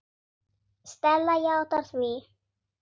Stella játar því.